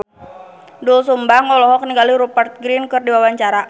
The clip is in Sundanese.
Doel Sumbang olohok ningali Rupert Grin keur diwawancara